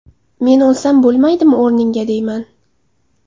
Men o‘lsam bo‘lmaydimi o‘rningga deyman.